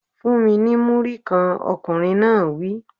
Fun-un ní Múrí-kan! Ọkùnrin náà wí.